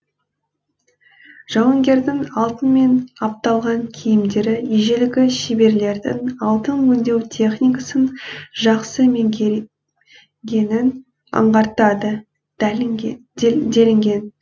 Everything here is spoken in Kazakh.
жауынгердің алтынмен апталған киімдері ежелгі шеберлердің алтын өңдеу техникасын жақсы меңгергенін аңғартады делінген